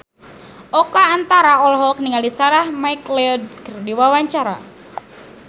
Oka Antara olohok ningali Sarah McLeod keur diwawancara